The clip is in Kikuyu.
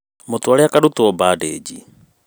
Mũtware akarutwo bandĩnji